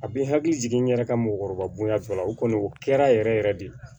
A bɛ n hakili jigin n yɛrɛ ka mɔgɔkɔrɔba bonya tɔ la o kɔni o kɛra yɛrɛ yɛrɛ de